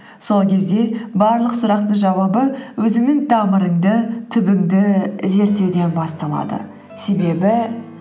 сол кезде барлық сұрақтың жауабы өзіңнің тамырыңды түбіңді зерттеуден басталады себебі